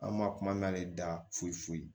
An ma kuma n'a de da foyi foyi